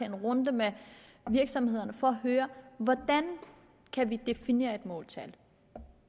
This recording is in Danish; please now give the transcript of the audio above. en runde med virksomhederne for at høre hvordan vi kan definere et måltal